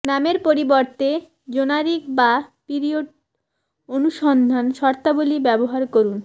নামের পরিবর্তে জেনারিক বা পিরিয়ড অনুসন্ধান শর্তাবলী ব্যবহার করুন